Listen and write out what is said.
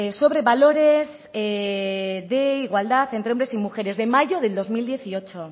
sobre valores de igualdad entre hombres y mujeres de mayo del dos mil dieciocho